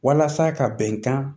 Walasa ka bɛnkan